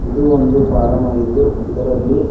ಇದು ಒಂದು ಪಾರಮ್ ಆಗಿದ್ದು ಇದರಲ್ಲಿ--